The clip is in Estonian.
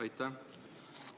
Aitäh!